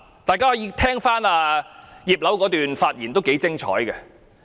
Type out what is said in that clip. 大家可以聽聽葉劉淑儀議員的發言，相當精彩。